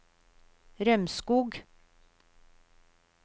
Rømskog